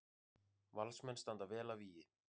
Valsmenn standa vel að vígi